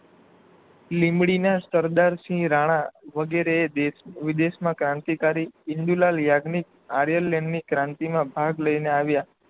લીમડીના સરદારસિંહ રાણા વગેરેએ દેશ વિદેશના કરંતિકારી ઇંદુલાલ યાજ્ઞિક આર્યલેનની ક્રાંતિ માં ભાગ લઈને આવ્યા